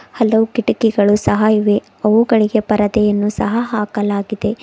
ಹಲವು ಕಿಟಕಿಗಳು ಸಹ ಇವೆ ಅವುಗಳಿಗೆ ಪರದೆಯನ್ನು ಸಹ ಹಾಕಲಾಗಿದೆ.